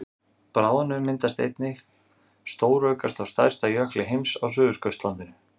bráðnun myndi einnig stóraukast á stærsta jökli heims á suðurskautslandinu